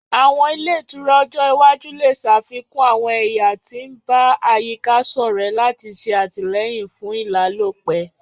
Àwọn ile itura ojo iwaju le ṣafikun àwọn ẹya ti n ba àyíká-sọrẹ lati ṣe atilẹyin fún ìlálòpẹ́